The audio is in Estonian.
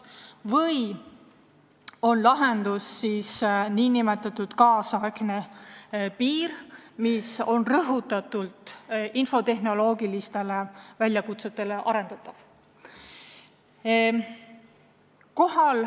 Või on lahendus nn kaasaegne piir, mida arendatakse rõhutatult infotehnoloogilistele väljakutsetele vastavaks?